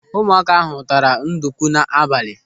Ụmụaka ahụ taara ndukwu n'abalị.